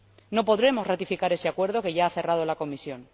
No podremos ratificar ese acuerdo que ya ha cerrado la Comisión.